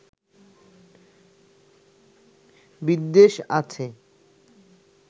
বিদ্বেষ আছে